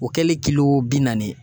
O kɛlen kilo bi naani ye